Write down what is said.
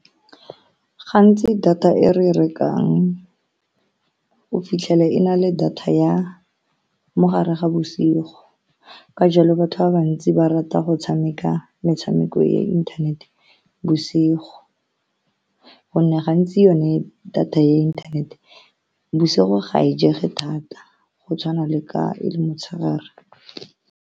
Gantsi, data e re e rekang o fitlhele e na le data ya mogare ga bosigo, ka jalo batho ba bantsi ba rata go tshameka metshameko, tshameko ya inthanete bosigo ka gonne gantsi yone data ya inthanete bosigo ga e je thata, go tshwana le ka e le motshegare.